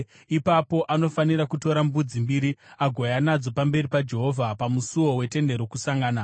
Ipapo anofanira kutora mbudzi mbiri agouya nadzo pamberi paJehovha pamusuo weTende Rokusangana.